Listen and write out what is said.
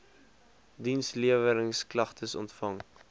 diensleweringsk lagtes ontvang